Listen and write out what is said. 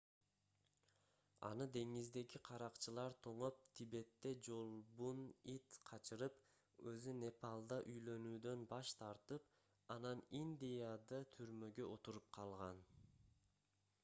аны деңиздеги каракчылар тоноп тибетте жолбун ит качырып өзү непалда үйлөнүүдөн баш тартып анан индияда түрмөгө отуруп калган